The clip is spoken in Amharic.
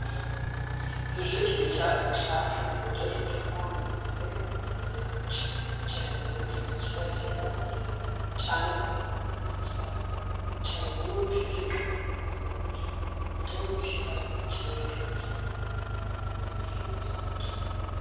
ትልቅ ቢጫ ጫኚ (ሎደር) ጥቁር ነገር ወደ ነጭ የጭነት መኪና ጀርባ እየጫነ ነው። የጫኚው ትልልቅ ጎማዎች ጎልተው ሲታዩ፣ የጭነት መኪናው በከፊል ተሞልቷል።